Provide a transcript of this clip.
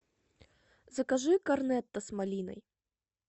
закажи корнетто с малиной